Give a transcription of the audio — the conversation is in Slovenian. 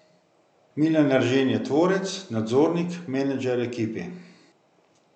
Milan Eržen je tvorec, nadzornik, menedžer ekipe.